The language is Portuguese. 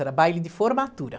Era baile de formatura.